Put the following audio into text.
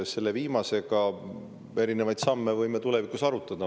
Selle viimase kohta: erinevaid samme võime tulevikus arutada.